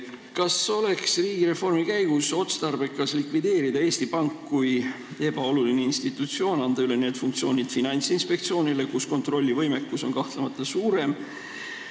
Kas riigireformi käigus oleks otstarbekas likvideerida Eesti Pank kui ebaoluline institutsioon, anda need funktsioonid üle Finantsinspektsioonile, kus kontrollivõimekus on kahtlemata suurem?